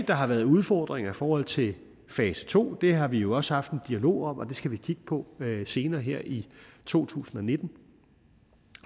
der har været udfordringer i forhold til fase to det har vi jo også haft en dialog om og det skal vi kigge på senere her i to tusind og nitten